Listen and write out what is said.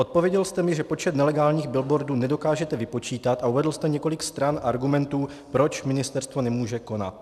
Odpověděl jste mi, že počet nelegálních billboardů nedokážete vypočítat, a uvedl jste několik stran argumentů, proč ministerstvo nemůže konat.